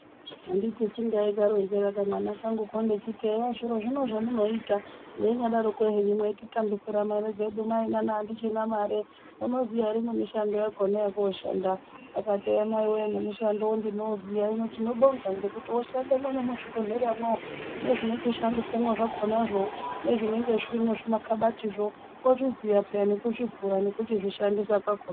Anditi si ndaikaronzera kamwana kangu ndichiti,"zviro zviye zvamunoita meinyadaroko hemu meitikambisire mare dzedu nana atichina mare ,munoziya ere mishando yakona yekoshanda."Akati eya maiwe nemushando wakona ndouziya .Hino tinobonga ngekuti oshandewo mwona muzvibhehlera mwo. Nezvinoshandiswa zvona zvo ,nezvimakabatizvo ozviziya nekuzvivhura nekuchizvishandisa kakona.